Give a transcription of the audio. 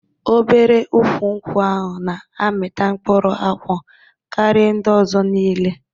Obere ukwụ nkwụ ahụ na-amịta mkpụrụ akwụ karịa ndị ọzọ niile.